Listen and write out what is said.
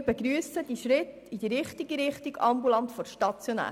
Wir begrüssen den Schritt in die richtige Richtung, nämlich ambulant vor stationär.